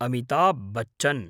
Amitabh Bachchan